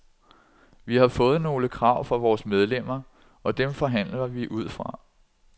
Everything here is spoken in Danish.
Vi har fået nogle krav fra vores medlemmer, og dem forhandler vi ud fra.